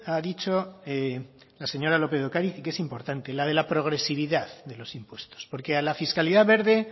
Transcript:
ha dicho la señora lópez de ocariz y que es importante la de la progresividad de los impuestos porque a la fiscalidad verde